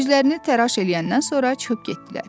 Üzlərini təraş eləyəndən sonra çıxıb getdilər.